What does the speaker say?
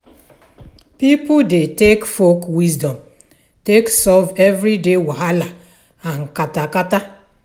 pipo dey take folk wisdom take solve everyday wahala and kata kata